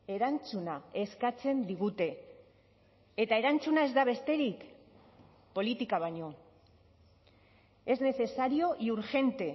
erantzuna eskatzen digute eta erantzuna ez da besterik politika baino es necesario y urgente